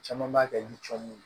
Caman b'a kɛ li cɔmu ye